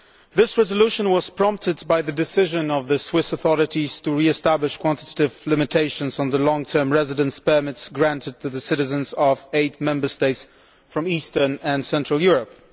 This resolution was prompted by the decision of the Swiss authorities to re establish quantitative limitations on the long term residence permits granted to the citizens of eight Member States from eastern and central Europe.